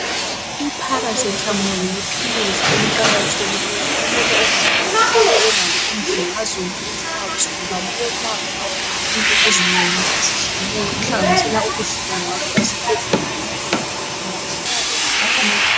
Iparacetmol liphilisi eliqakathekileyo. Okumele umuntu ahlale elalo endlini, ngazo zonke izikhathi. ngoba liyelapha. Lelapha izinto ezinengi ezitshiyeneyo. Okuhlanganisela ubuhlungu. Ngakho esibhedlela, umuntu angayakhona. Uhlala ewaphiwa.